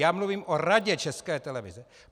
Já mluvím o Radě České televize.